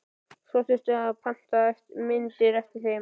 Svo þyrfti að panta myndir eftir þeim.